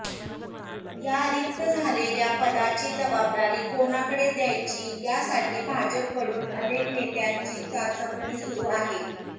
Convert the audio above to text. या रिक्त झालेल्या पदाची जबाबदारी कोणाकडे देयची यासाठी भाजप कडून अनेक नेत्यांची चाचपणी सुरु आहे